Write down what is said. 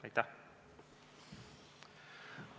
Aitäh!